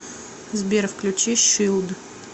сбер включи шилд